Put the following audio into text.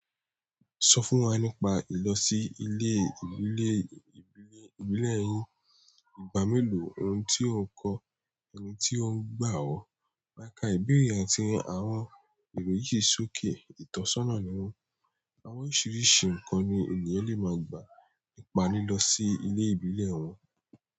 Sọ fún wa nípa ìlọ sí ilé ìbílẹ̀ yín, ìgbà mélòó, oun tí ò ń kọ́, oun tí ó ń gbà ọ́. Máka ìbéèrè yí sì ahọ́n tàbí sókè ìtọ́sọ́nà ni wọ́n. Àwọn oríṣiríṣi ǹkan ni ènìyàn lè ma gbà nípa lílọ sí ilé ìbílẹ̀ wọn.